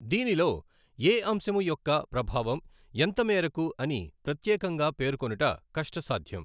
దీనిలో ఏ అంశము యొక్క ప్రభావం ఎంత మేరకు అని ప్రత్యేకంగా పేర్కొనుట కష్టసాధ్యం.